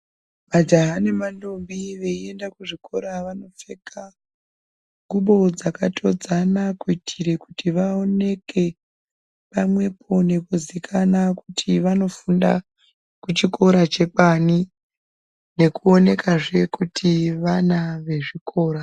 Majaha nemantombi veienda kuzvikora vanopfeka nguwo dzakatodzana kuitira kuti vaoneke pamwepo nekuziikanwa kuti vanofunda kuchikora chekwani nekuona zvee kuti vana vezvikora.